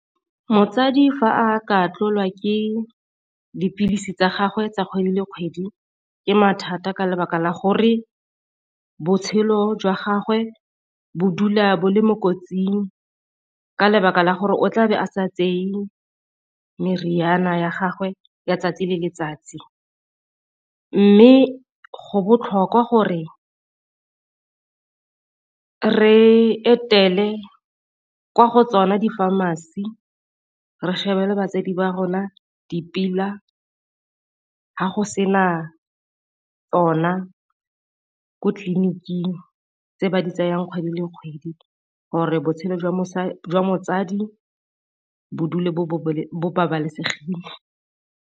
Motsadi fa a ka tlolwa ke dipilisi tsa gagwe tsa kgwedi le kgwedi ke mathata ka lebaka la gore botshelo jwa gagwe bo dula bo le mo kotsing, ka lebaka la gore o tla be a sa tseye meriana ya gagwe ya 'tsatsi le letsatsi. Mme go botlhokwa gore re etele kwa go tsona di-pharmacy re shebele batsadi ba rona ga go sena tsona ko tleliniking tse ba di tsayang kgwedi le kgwedi gore botshelo jwa mosadi bo dula bo babalesegileng.